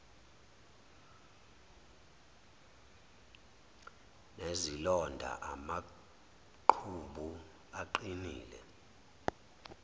nezilonda amaqhubu aqinile